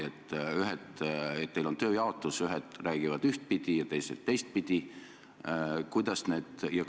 Kas samamoodi, et teil on tööjaotus, nii et ühed räägivad ühtpidi ja teised teistpidi?